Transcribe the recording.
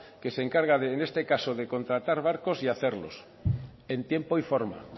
que se encarga de en este caso de contratar barcos y hacerlos en tiempo y en forma